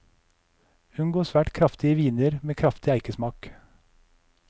Unngå svært kraftige viner med kraftig eikesmak.